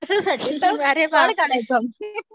कश्यासाठी पळ काढायचो आम्ही